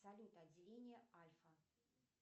салют отделение альфа